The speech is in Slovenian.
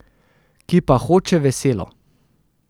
Ki pa hoče veselo.